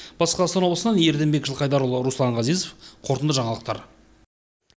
батыс қазақстан облысынан ерденбек жылқайдарұлы руслан ғазизов қорытынды жаңалықтар